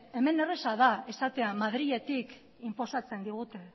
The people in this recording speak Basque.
hemen erraza da esatea madriletik inposatzen digute